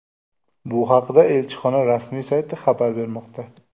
Bu haqda elchixona rasmiy sayti xabar bermoqda .